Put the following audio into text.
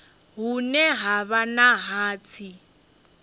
hune ha vha na hatsi